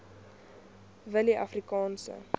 willieafrikaanse